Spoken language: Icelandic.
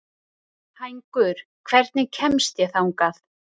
Hængur, hvernig kemst ég þangað?